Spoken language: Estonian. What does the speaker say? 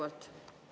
Aeg!